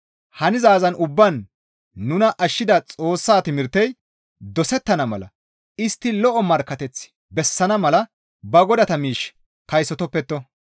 Hanizaazan ubbaan nuna ashshida Xoossa timirtey dosettana mala istti lo7o markkateth bessana mala ba godata miish kaysotoppetto.